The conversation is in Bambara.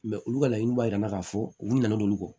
Mɛ olu ka laɲiniw b'a jira k'a fɔ u kun nana olu kɔ